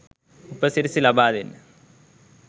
උපසිරැසි ලබා දෙන්න